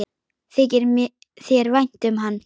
Þykir þér vænt um hann?